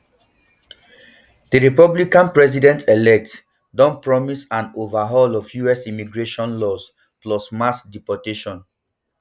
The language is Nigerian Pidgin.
di republican presidentelect don promise an overhaul of us immigration laws plus mass deportations